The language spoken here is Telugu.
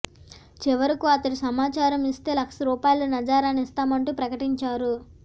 చివరకు అతడి సమాచారం ఇస్తే లక్ష రూపాయల నజారానా ఇస్తామంటూ ప్రకటించారు